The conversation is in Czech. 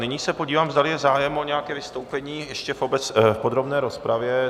Nyní se podívám, zdali je zájem o nějaké vystoupení ještě v podrobné rozpravě.